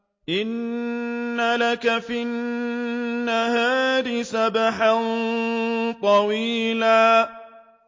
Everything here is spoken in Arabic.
إِنَّ لَكَ فِي النَّهَارِ سَبْحًا طَوِيلًا